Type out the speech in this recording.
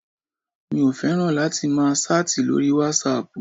Mi ò fẹ́ràn láti máa ṣáàtì lóri wasaapù.